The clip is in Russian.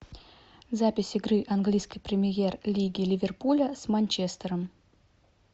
запись игры английской премьер лиги ливерпуля с манчестером